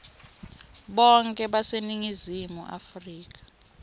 bonkhe baseningizimu afrika